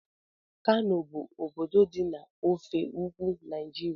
Kano bụ obodo dị na ofe ugwu Naịjirịa